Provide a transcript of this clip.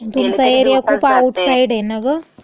तुमचा एरिया खूप आउटसाइड ये नं ग.